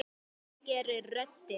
Það gerir röddin.